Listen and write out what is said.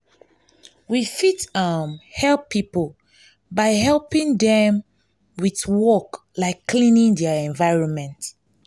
we fit um help pipo by helping them with work like cleaning their environment